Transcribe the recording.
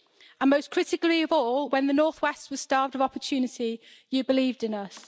And most critically of all, when the north west was starved of opportunity you believed in us.